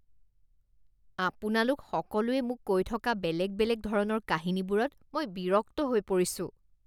আপোনালোক সকলোৱে মোক কৈ থকা বেলেগ বেলেগ ধৰণৰ কাহিনীবোৰত মই বিৰক্ত হৈ পৰিছোঁ